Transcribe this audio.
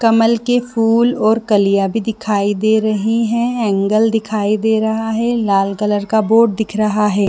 कमल के फूल और कलियाँ भी दिखाई दे रही है एंगल दिखाई दे रहा है लाल कलर का बोर्ड दिख रहा है।